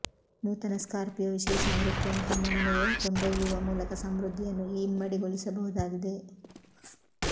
ನೂತನ ಸ್ಕಾರ್ಪಿಯೊ ವಿಶೇಷ ಆವೃತ್ತಿಯನ್ನು ತಮ್ಮ ಮನೆಗೆ ಕೊಂಡೊಯ್ಯುವ ಮೂಲಕ ಸಮೃದ್ಧಿಯನ್ನು ಇಮ್ಮಡಿಗೊಳಿಸಬಹುದಾಗಿದೆ